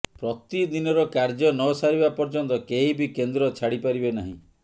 ପ୍ରତିଦିନର କାର୍ଯ୍ୟ ନ ସାରିବା ପର୍ଯ୍ୟନ୍ତ କେହି ବି କେନ୍ଦ୍ର ଛାଡ଼ିପାରିବେ ନାହିଁ